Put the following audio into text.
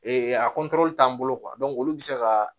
a t'an bolo olu bɛ se ka